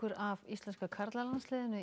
af íslenska karlalandsliðinu í